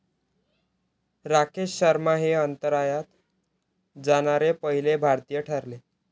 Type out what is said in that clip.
राकेश शर्मा हे अंतराळात जाणारे पहिले भारतीय ठरले.